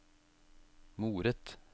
moret